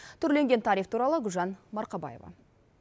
түрленген тариф туралы гүлжан марқабаева